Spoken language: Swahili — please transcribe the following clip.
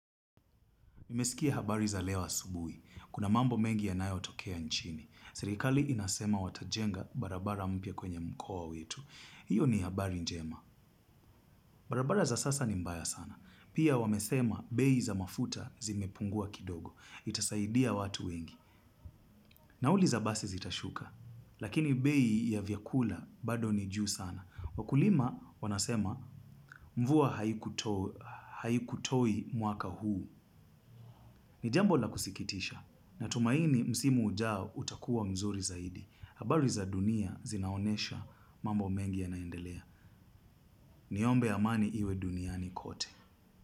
Nimesikia habari za leo asubui. Kuna mambo mengi yanayo tokea nchini. Serikali inasema watajenga barabara mpya kwenye mkoa wetu. Hiyo ni habari njema. Barabara za sasa ni mbaya sana. Pia wamesema bei za mafuta zimepungua kidogo. Itasaidia watu wengi. Nauli za basi zitashuka. Lakini bei ya vyakula bado ni juu sana. Wakulima wanasema mvua haikutoi mwaka huu. Ni jambo la kusikitisha na tumaini msimu ujao utakuwa mzuri zaidi. Habari za dunia zinaonesha mambo mengi ya naendelea. Niombe amani iwe duniani kote.